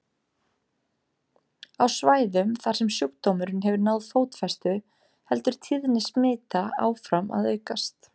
Á svæðum þar sem sjúkdómurinn hefur náð fótfestu heldur tíðni smita áfram að aukast.